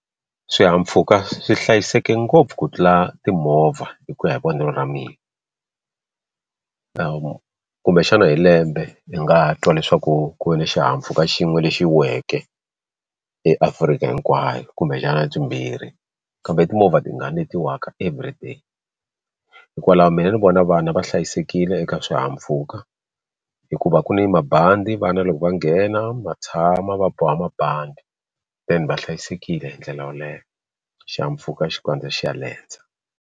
Swihahampfhuka swi hlayiseke ngopfu ku tlula timovha hi ku ya hi vonelo ra mina kumbexana hi lembe hi nga twa leswaku ku ve ni xihahampfhuka xin'we lexi weke eAfrika hinkwayo kumbexana byimbirhi kambe timovha tingani letiwka everyday hikwalaho mina ni vona vana va hlayisekile eka swihahampfhuka hikuva ku ni mabandi vana loko va nghena ma tshama va boha mabandi then va hlayisekile hi ndlela yoleyo xihahampfhuka xi kandziya xi ya lendza.